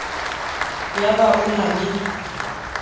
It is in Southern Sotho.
ya ba o na le